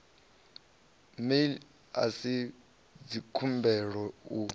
mail a si dzikhumbelo u